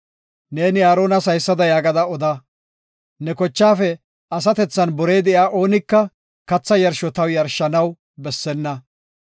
“Neeni Aaronas haysada yaagada oda; ne kochaafe asatethan borey de7iya oonika katha yarsho taw yarshanaw bessenna.